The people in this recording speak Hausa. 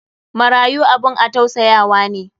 marayu abun a tausayawa ne.